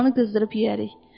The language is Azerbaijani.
Paxlanı qızdırıb yeyərik.